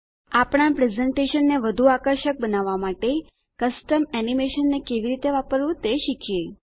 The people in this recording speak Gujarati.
આપણા પ્રેઝેંટેશનને વધું આકર્ષક બનાવવાં માટે કસ્ટમ એનિમેશનને કેવી રીતે વાપરવું તે શીખીએ